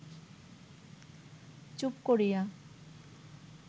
চুপ করিয়া